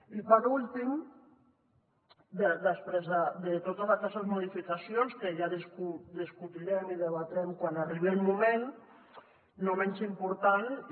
i per últim després de totes aquestes modificacions que ja discutirem i debatrem quan arribi el moment no menys important i